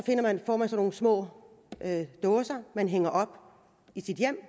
får man sådan nogle små dåser man hænger op i sit hjem